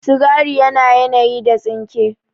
Sigari yana yanayi da tsinke